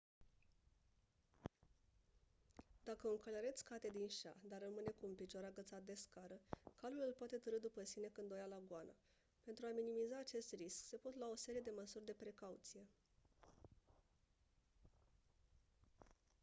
dacă un călăreț cade din șa dar rămâne cu un picior agățat de scară calul îl poate târî după sine când o ia la goană pentru a minimiza acest risc se pot lua o serie de măsuri de precauție